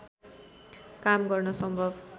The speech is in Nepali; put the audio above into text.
काम गर्न सम्भव